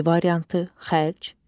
B variantı: xərc,